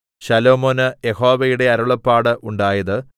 ശലോമോന് യഹോവയുടെ അരുളപ്പാട് ഉണ്ടായത്